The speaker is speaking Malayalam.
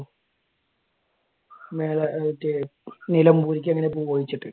മേല മറ്റേ നിലമ്പൂരിലേക്ക് എങ്ങനെയാ പോണേന്ന് ചോയിച്ചിട്ട്.